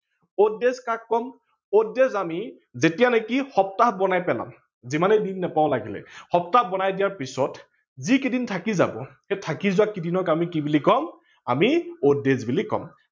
odd days কাক কম, odd days আমি যেতিয়া নেকি সপ্তাহ বনাই পেলাম, যিমানেই দিন নাপাও লাগিলে, সপ্তাহ বনাই দিয়াৰ পিছত যি কেইদিন থাকি যাব, থাকি যোৱা কেইদিনক আমি কি বুলি কম, আমি odd days বুলি কম।